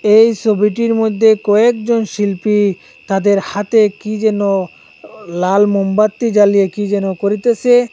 এই ছবিটির মধ্যে কয়েকজন শিল্পী তাদের হাতে কী যেন লাল মোমবাতি জ্বালিয়ে কী যেন করিতেসে।